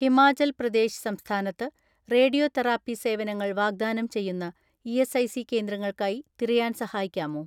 "ഹിമാചൽ പ്രദേശ് സംസ്ഥാനത്ത് radio therapy സേവനങ്ങൾ വാഗ്ദാനം ചെയ്യുന്ന ഇ.എസ്.ഐ.സി കേന്ദ്രങ്ങൾക്കായി തിരയാൻ സഹായിക്കാമോ?"